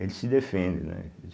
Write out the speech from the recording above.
Eles se defendem, né?